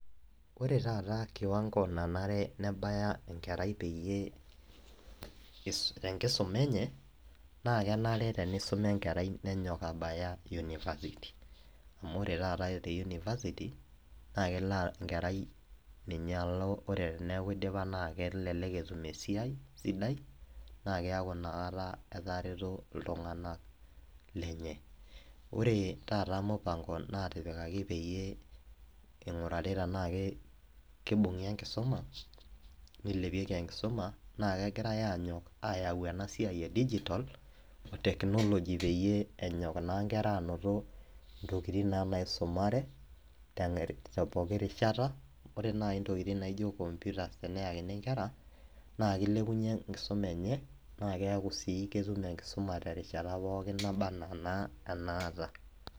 ore taata kiwango nanare nebaya enkerai peyie tenkisuma enye. naa kenare tenisuma enkerai nenyok abaya university amu ore taata te university naa kelo enkerai, ninye elo. ore peku idipa naa kelelk etum esaiai sidai. naa keeku inakata etareto iltunganak lenye. ore taata mupango natipikaki pee ing'urari tenaa ki kibung'i enkisuma. nilepieki enkisuma naa kegirae aanyok ayau ena siai e digitsl e technology peyie enyok jun kera aanoto ntokitin naa naisumare, te pooki rishata, re naaji intokitin naijo computers teneyakini nkera, naa kilepunye enkisuma enye, naa keku sii ketum enkisuma terishata pookin naba anaa enaata.